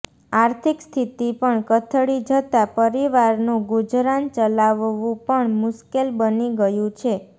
આર્થિક સ્થિતિ પણ કથળી જતા પરિવારનું ગુજરાન ચલાવવું પણ મુશ્કેેલ બની ગયું છે